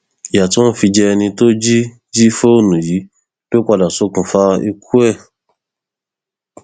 ìyà tí wọn fi jẹ ẹni tó jí jí fóònù yìí ló padà ṣokùnfà ikú ẹ